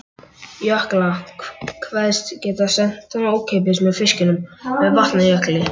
Jökla, kveðst geta sent hana ókeypis með fiskinum með Vatnajökli.